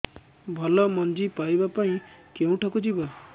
ଭଲ ମଞ୍ଜି ପାଇବା ପାଇଁ କେଉଁଠାକୁ ଯିବା